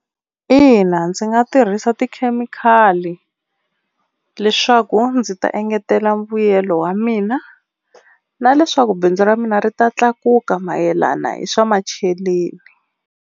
Ina ndzi nga tirhisa tikhemikhali leswaku ndzi ta engetela mbuyelo wa mina na leswaku bindzu ra mina ri ta tlakuka mayelana hi swa macheleni.